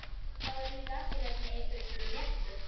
Það voru líka allir hérna í einhverju svona léttu.